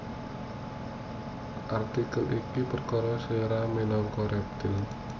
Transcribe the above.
Artikel iki perkara slira minangka rèptil